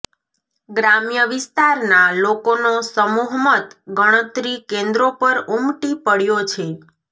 ગ્રામ્ય વિસ્તારના લોકોનો સમૂહ મત ગણતરી કેન્દ્રો પર ઉમટી પડ્યો છે